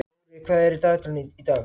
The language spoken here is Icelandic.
Rorí, hvað er í dagatalinu í dag?